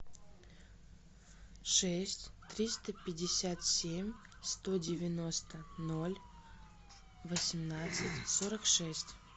шесть триста пятьдесят семь сто девяносто ноль восемнадцать сорок шесть